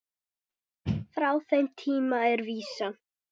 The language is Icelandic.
Frá þeim tíma er vísan